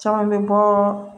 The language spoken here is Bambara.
Caman bɛ bɔ